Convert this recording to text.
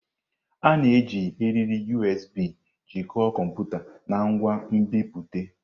A na-eji eriri USB jikọọ kọmputa na ngwa nbipute.